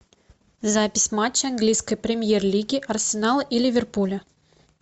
запись матча английской премьер лиги арсенала и ливерпуля